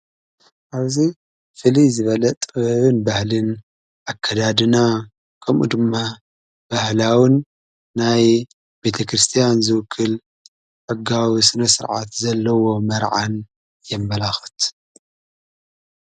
ዓብ ዚ ፍልይ ዝበለ ጥበብን ባህልን ኣከዳድናን ከምኡ ድማ ባህላውን ናይ ቤተ ክርስቲያን ዝውክል ሕጋዊ ስነ ሥርዓት ዘለዎ መርዓን የመላኽት።